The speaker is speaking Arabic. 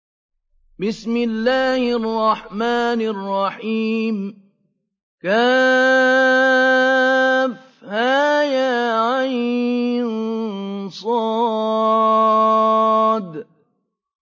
كهيعص